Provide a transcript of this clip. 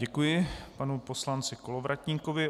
Děkuji panu poslanci Kolovratníkovi.